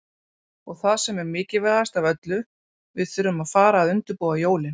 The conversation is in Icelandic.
Og það sem er mikilvægast af öllu, við þurfum að fara að undirbúa jólin.